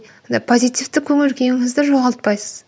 позитивті көңіл күйіңізді жоғалпайсыз